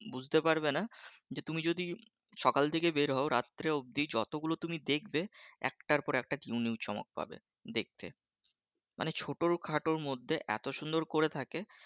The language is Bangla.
বুঝতে পারবেনা যে তুমি যদি সকাল থেকে বের হও রাত্রে অব্দি যতগুলো তুমি দেখবে একটার পর একটা new new চমক পাবে দেখতে মানে ছোটো খাটোর মধ্যে এতো সুন্দর করে থাকে